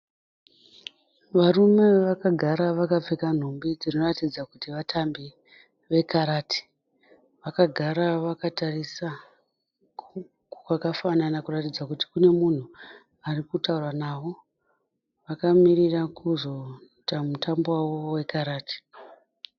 Varume vakagara vakapfeka nhumbu dzinoratidza kuti vatambi vekarati. Vakagara vakatarisa kwakafanana kuratidza kuti kune munhu ari kutaura navo. Vakamirira kuzoita mutambo wavo wekarati.